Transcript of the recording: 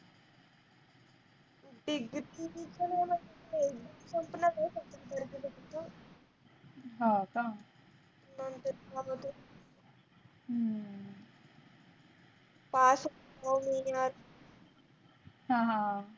ते gift